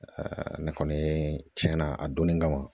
ne kɔni cɛn na a donni kama